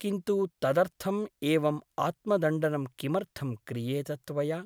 किन्तु तदर्थम् एवम् आत्मदण्डनं किमर्थं क्रियेत त्वया ?